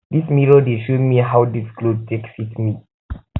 dis um mirror dey show um me how dis cloth um take fit me